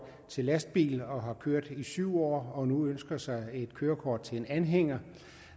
til lastbil og har kørt i syv år og nu ønsker sig et kørekort til en anhænger